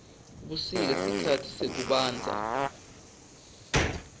busika sikhatsi sekubandza